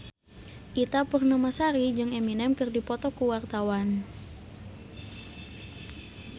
Ita Purnamasari jeung Eminem keur dipoto ku wartawan